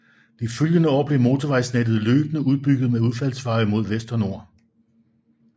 De følgende år blev motorvejsnettet løbende udbygget med udfaldsveje mod vest og nord